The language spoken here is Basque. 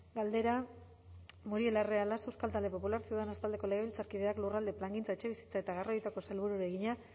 galdera muriel larrea laso euskal talde popular ciudadanos taldeko legebiltzarkideak lurralde plangintza etxebizitza eta garraioetako sailburuari egina